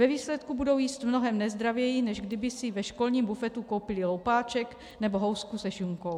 Ve výsledku budou jíst mnohem nezdravěji, než kdyby si ve školním bufetu koupily loupáček nebo housku se šunkou.